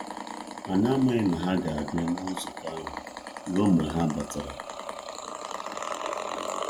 Anyị amaghi na ha ga-abịa na nzukọ ahụ ruo mgbe ha batara.